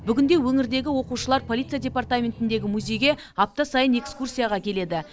бүгінде өңірдегі оқушылар полиция департаментіндегі музейге апта сайын экскурсияға келеді